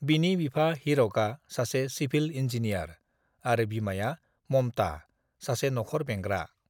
"बिनि बिफा, हीरकआ सासे सिभिल इन्जीनियार आरो बिमाया ममता, सासे नखर बेंग्रा।"